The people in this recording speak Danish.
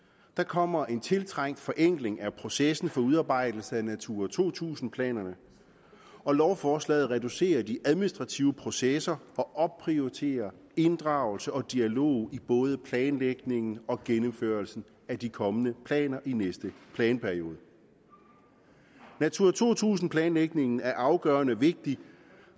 der kommer en tiltrængt forenkling af processen for udarbejdelse af natura to tusind planerne og lovforslaget reducerer de administrative processer og opprioriterer inddragelse og dialog i både planlægningen og gennemførelsen af de kommende planer i næste planperiode natura to tusind planlægningen er afgørende vigtig